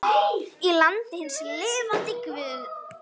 Í landi hins lifanda guðs.